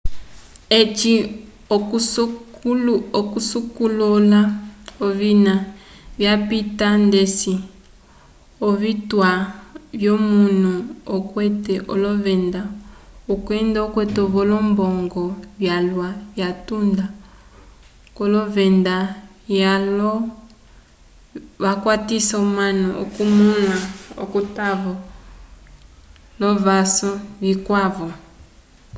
eci okusokolola ovina vyapita ndeci ovituwa vyomunu okwete olovenda kwenda okwete-vo olombongo vyalwa vyatunda k'olovenda vyaco vakwatisa omanu okumõla atavo l'ovaso vikwavo